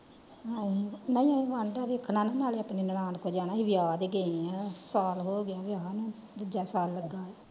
ਨਾਇ ਉਹ ਵੇਖਣਾ ਨਾ ਨਾਲੇ ਆਪਣੀ ਨੈਣਾਂ ਕੋਲ ਜਾਣਾ ਵਿਆਹ ਦੇ ਗਏ ਆ ਸਾਲ ਹੋਗਿਆ ਵਿਆਹ ਨੂੰ ਦੂਜਾ ਸਾਲ ਲੱਗਾ।